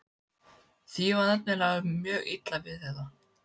Því var nefnilega mjög illa við þetta.